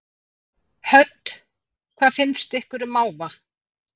Hödd: Hvað finnst ykkur um máva?